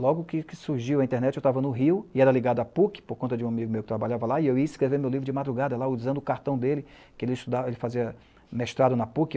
Logo que que surgiu a internet, eu estava no Rio e era ligado à PUC, por conta de um amigo meu que trabalhava lá, e eu ia escrever meu livro de madrugada lá, usando o cartão dele, que ele estudava, ele fazia mestrado na PUC.